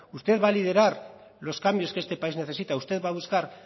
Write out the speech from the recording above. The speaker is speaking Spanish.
usted va a liderar los cambios que este país necesita usted va a buscar